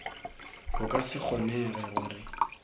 go ka se kgonege gore